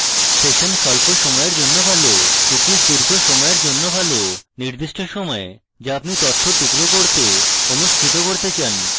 session স্বল্প সময়ের জন্য ভাল cookies দীর্ঘ সময়ের জন্য ভালনির্দিষ্ট সময় যা আপনি তথ্য টুকরো করতে অনুষ্ঠিত করতে চান